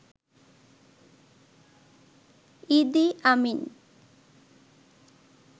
ইদি আমিন